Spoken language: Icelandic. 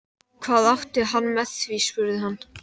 Hvað átti hann við með því? spurði hann.